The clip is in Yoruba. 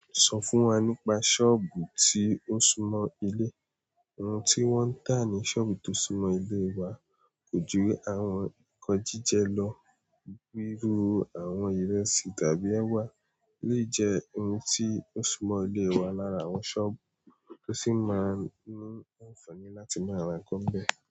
Sọ fún wa nípa ṣọ́ọ̀bù tí ó súnmọ́ ilé. Ohun tí wọ́n ń tà ní ṣọ́ọ̀bù tó súnmọ́ ilé wa kò jú àwọn nnkan jíjẹ lọ. Gbírú, àwọn ìresì tàbí ẹwà lè jẹ́ ohun tí ó súnmọ́ ilé wa lára àwọn ṣọ́ọ̀bù tó sì máa ní àǹfààní láti máa ránkó bẹ́ẹ̀.